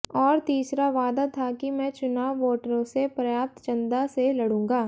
और तीसरा वादा था कि मैं चुनाव वोटरों से प्राप्त चंदा से लड़ूंगा